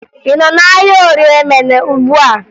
Ị nọ n'ahịa Orie Emene ugbua?